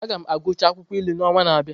Aga m agụchaa akwụkwọ ilu n’ọnwa na-abịa.